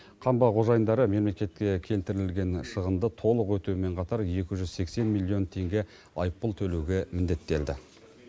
қамба қожайындары мемлекетке келтірілген шығынды толық өтеумен қатар екі жүз сексен миллион теңге айыппұл төлеуге міндеттелді